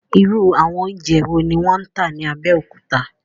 Irú àwọn oúnjẹ wo ni wọ́n ń tà ní Abẹ́òkúta?